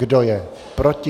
Kdo je proti?